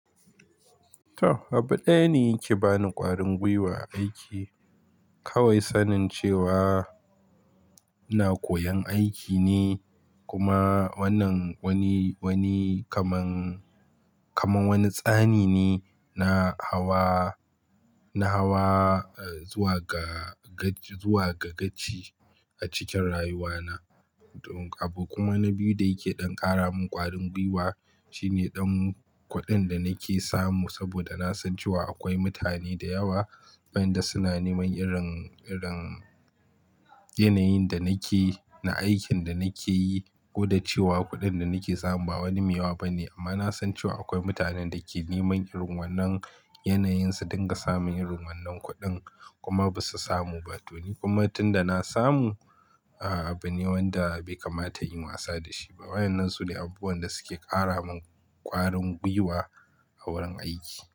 To, abu ɗaya ne yake bani ƙwarin gwiwa a aiki. Kawai sanin cewa ina koyon aiki ne kuma wannan wani, wani kaman, kaman wani tsani ne na hawa, na hawa, eh, zuwa ga, zuwa ga gaci a cikin rayuwana. Don abu kuma na biyu da yake ɗan ƙara min ƙwarin gwiwa shine ɗan kuɗin da nake samu saboda na san ce wa akwai mutane da yawa wanda suna neman irin, irin yanayin da nake, na aikin da nake yi. Koda cewa kuɗin da nake samu ba wani mai yawa bane amma na san cewa akwai mutanen da ke neman irin wannan yanayin su don ga samun irin wannan kuɗin kuma ba su samu ba. To ni kuma tun da na samu, ah, abu ne wanda bai kamata in wasa da shi ba. Wannan su ne abubuwan da suke ƙara min ƙwarin gwiwa a wurin aiki.